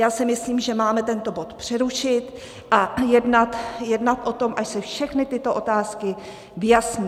Já si myslím, že máme tento bod přerušit a jednat o tom, až se všechny tyto otázky vyjasní.